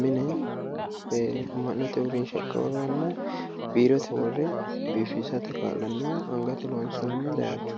mine ama'note uurrinsha akawaaweranna biirote worre biifisate kaa'lanno angate loonsoonni dararchooti